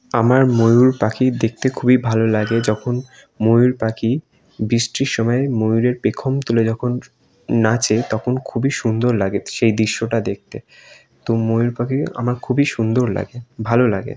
আমার ময়ূর পাখি দেখতে খুবই ভালো লাগে যখন ময়ূর পাখি যখন বৃষ্টির সময় ময়ূরের পেখম তুলে যখন নাচে তখন খুবই সুন্দর লাগে সেই দৃশ্যটা দেখতে তো ময়ূর পাখি আমার খুবই সুন্দর লাগে ভালো লাগে।